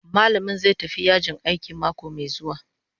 Malamin zai tafi yajin aiki mako mai zuwa.